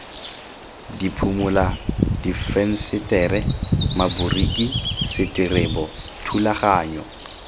diphimola difensetere maboriki seterebo thulaganyo